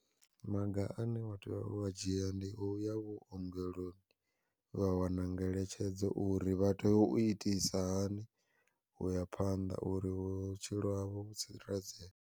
Maga ane wa tea ua dzhia ndi u ya vhuongeloni, vha wana ngeletshedzo uri vha teya u itisa hani uya phanḓa uri vhutshilo havho vhu tsireledzee.